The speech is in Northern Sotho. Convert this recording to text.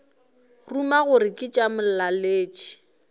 ruma gore ke tša molaletši